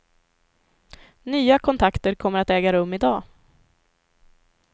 Nya kontakter kommer att äga rum i dag.